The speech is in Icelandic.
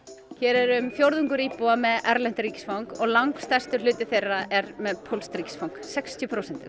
hér er um fjórðungur íbúa með erlent ríkisfang og langstærstur hluti þeirra er með pólskt ríkisfang sextíu prósent